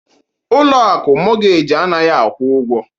Ụlọ akụ mọgej anaghị akwụ ụgwọ